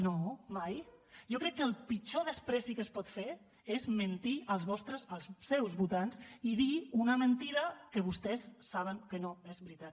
no mai jo crec que el pitjor menyspreu que es pot fer és mentir als vostres als seus votants i dir una mentida que vostès saben que no és veritat